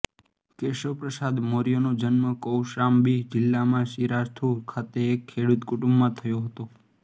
કેશવપ્રસાદ મૌર્યનો જન્મ કૌશામ્બી જિલ્લામાં સિરાથુ ખાતે એક ખેડૂત કુટુંબમાં થયો હતો